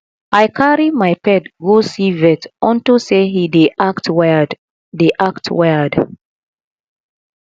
i carry my pet go see vet unto say he dey act weird dey act weird